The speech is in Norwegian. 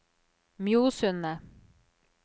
Mjosundet